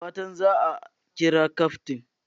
Da fatan za a kira kyaftin!